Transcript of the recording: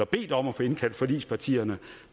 bedt om at få indkaldt forligspartierne